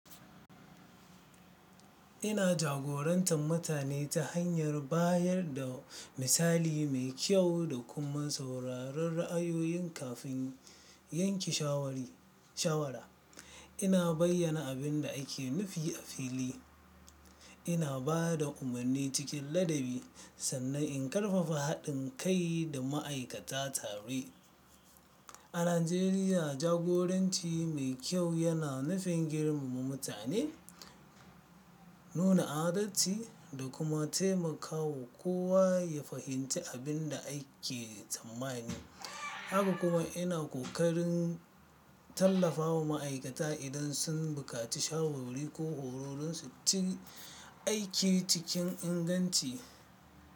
Ina jagorantar mutane ta hanyar bayar da misali mai kyau da kuma sauraron ra'ayoyin kafin yanke shawara. Ina bayyana abin da ake nufi a fili, ina ba da umarni cikin ladabi sannan in ƙarfafa haɗin kai da ma'aikata tare. A Najeriya, jagoranci mai kyau yana nufin girmama mutane, nuna adalci da kuma taimakawa kowa ya fahimci abin da ake tsammani. Haka kuma ina kokarin tallafawa ma'aikata idan sun bukaci shawarwari ko horo son su cimma aims aiki cikin inganci.